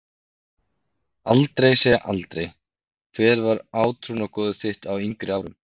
Aldrei segja aldrei Hver var átrúnaðargoð þitt á yngri árum?